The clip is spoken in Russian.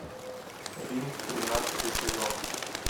рим тринадцатый сезон